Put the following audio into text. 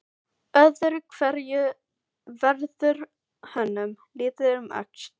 Öðru hverju verður honum litið um öxl.